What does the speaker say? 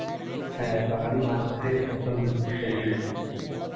হ্যাঁ, বাঙালি মাঝ ভাতে পছন্দ একি,